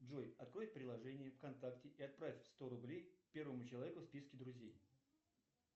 джой открой приложение вконтакте и отправь сто рублей первому человеку в списке друзей